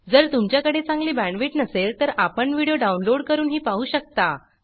जर तुमच्याकडे चांगली बॅण्डविड्थ नसेल तर आपण व्हिडिओ डाउनलोड करूनही पाहू शकता